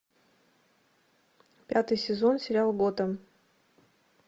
пятый сезон сериал готэм